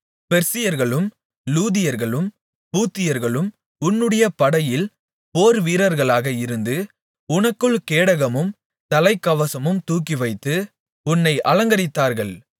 பெர்சியர்களும் லூதியர்களும் பூத்தியர்களும் உன்னுடைய படையில் போர்வீரர்களாக இருந்து உனக்குள் கேடகமும் தலைகவசமும் தூக்கிவைத்து உன்னை அலங்கரித்தார்கள்